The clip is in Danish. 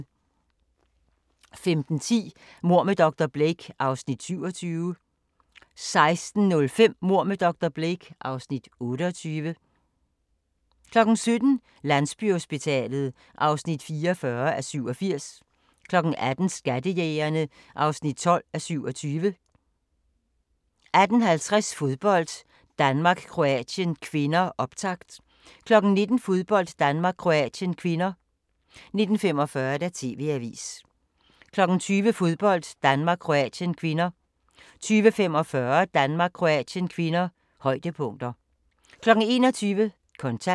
15:10: Mord med dr. Blake (Afs. 27) 16:05: Mord med dr. Blake (Afs. 28) 17:00: Landsbyhospitalet (44:87) 18:00: Skattejægerne (12:27) 18:50: Fodbold: Danmark-Kroatien (k), optakt 19:00: Fodbold: Danmark-Kroatien (k) 19:45: TV-avisen 20:00: Fodbold: Danmark-Kroatien (k) 20:45: Fodbold: Danmark-Kroatien (k), højdepunkter 21:00: Kontant